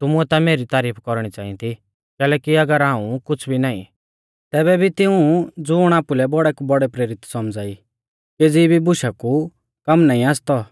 तुमुऐ ता मेरी तारीफ कौरणी च़ांई थी कैलैकि अगर हाऊं कुछ़ भी नाईं तैबै भी तिऊं ज़ुण आपुलै बौड़ै कु बौड़ै प्रेरित सौमझ़ा ई केज़ी भी बुशा कु कम नाईं आसतौ